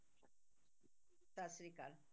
ਸਤਿ ਸ੍ਰੀ ਅਕਾਲ